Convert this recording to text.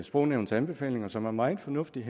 sprognævnets anbefalinger som er meget fornuftige